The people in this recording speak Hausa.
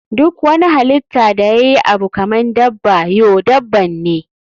Duk wani halitta da yayi Abu kaman daban you daban ne.